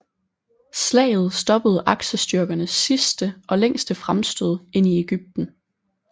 Slaget stoppede aksestyrkernes sidste og længste fremstød ind i Egypten